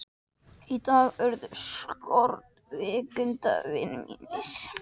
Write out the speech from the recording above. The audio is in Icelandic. Í dag urðu skorkvikindin vinir mínir.